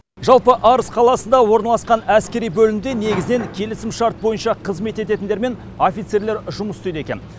жалпы арыс қаласында орналасқан әскери бөлімде негізінен келісімшарт бойынша қызмет ететіндер мен офицерлер жұмыс істейді екен